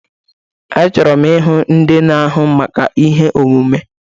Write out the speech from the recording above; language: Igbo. Achọrọ m ịhụ ndị na-ahụ maka ihe omume!